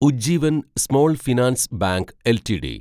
Ujjivan small finance bank LTD